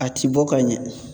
A ti bɔ ka ɲɛ